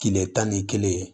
Kile tan ni kelen